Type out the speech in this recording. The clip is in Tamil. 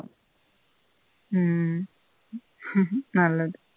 உம் நல்லது